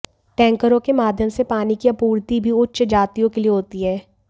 टैंकरों के माध्यम से पानी की आपूर्ति भी उच्च जातियों के लिए होती है